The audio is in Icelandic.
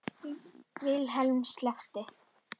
Vilhelm sleppti